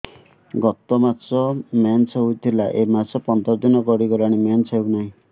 ଗତ ମାସ ମେନ୍ସ ହେଇଥିଲା ଏ ମାସ ପନ୍ଦର ଦିନ ଗଡିଗଲାଣି ମେନ୍ସ ହେଉନାହିଁ